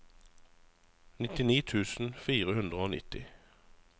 nittini tusen fire hundre og nitti